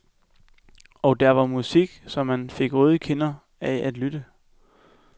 Og der var musik så man fik røde kinder af at lytte.